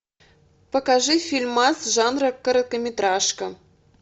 покажи фильмас жанра короткометражка